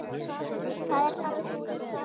Það ert bara þú, Sif.